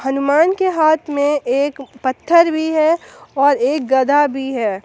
हनुमान के हाथ में एक पत्थर भी है और एक गदा भी है।